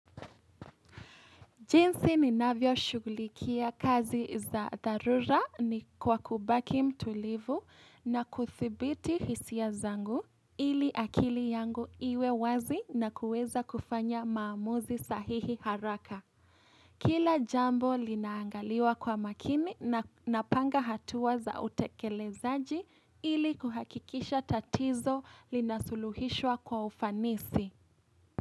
Jinsi ninavyo shugulikia kazi za dharura ni kwa kubaki mtulivu na kuthibiti hisia zangu ili akili yangu iwe wazi na kueza kufanya maamuzi sahihi haraka. Kila jambo linaangaliwa kwa makini na napanga hatua za utekelezaji ili kuhakikisha tatizo linasuluhishwa kwa ufanisi.